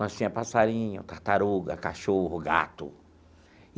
Nós tinha passarinho, tartaruga, cachorro, gato.